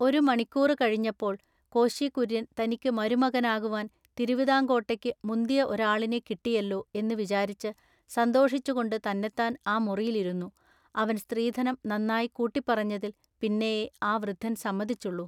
ഒരു മണിക്കൂറു കഴിഞ്ഞപ്പോൾ കോശികുൎയ്യൻ തനിക്കു മരുമകനാകുവാൻ തിരുവിതാങ്കോട്ടേക്കു മുന്തിയ ഒരാളിനെ കിട്ടിയെല്ലൊ എന്നു വിചാരിച്ചു സന്തോഷിച്ചുകൊണ്ടു തന്നെത്താൻ ആ മുറിയിൽ ഇരുന്നു, അവൻ സ്ത്രീധനം നന്നാ കൂട്ടിപ്പറഞ്ഞതിൽ പിന്നെയെ ആ വൃദ്ധൻ സമ്മതി ച്ചൊള്ളു.